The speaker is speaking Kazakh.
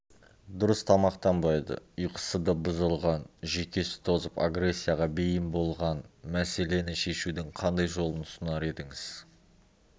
дұрыс тамақтанбайды ұйқысы да бұзылған жүйкесі тозып агрессияға бейім болған мәселені шешудің қандай жолын ұсынар едіңіз